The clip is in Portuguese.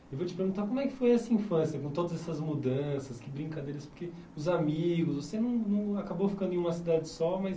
Eu vou te perguntar como é que foi essa infância, com todas essas mudanças, que brincadeiras, porque os amigos, você não não acabou ficando em uma cidade só, mas...